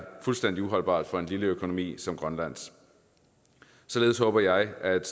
fuldstændig uholdbart for en lille økonomi som grønlands således håber jeg at et